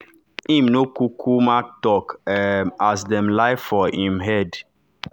im nor kukuma talk um as dem lie for im head